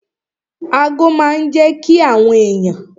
Ago máa n jẹ́ kí àwọn èèyàn